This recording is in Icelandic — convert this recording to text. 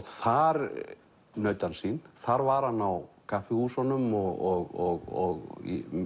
þar naut hann sín þar var hann á kaffihúsunum og